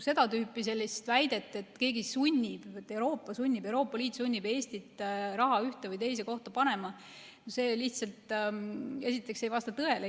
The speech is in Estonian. Seda tüüpi väide, et keegi sunnib, Euroopa sunnib, Euroopa Liit sunnib Eestit raha ühte või teise kohta panema, lihtsalt ei vasta tõele.